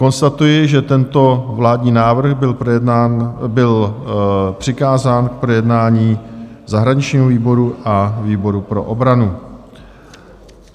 Konstatuji, že tento vládní návrh byl přikázán k projednání zahraničnímu výboru a výboru pro obranu.